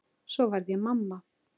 Svo varð ég mamma.